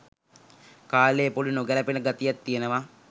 කාලයේ පොඩි නොගැලපෙන ගතියක් තියෙනවා